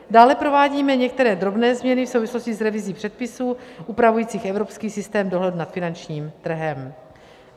Dále provádíme některé drobné změny v souvislosti s revizí předpisů upravujících evropský systém dohledu nad finančním trhem.